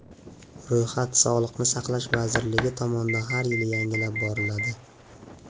Ro‘yxat Sog‘liqni saqlash vazirligi tomonidan har yili yangilab boriladi.